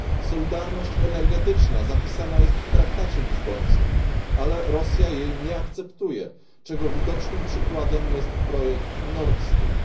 Solidarność energetyczna zapisana jest w traktacie lizbońskim, ale Rosja jej nie akceptuje, czego widocznym przykładem jest projekt Nord Stream.